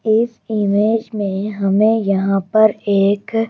इस इमेज में हमें यहां पर एक--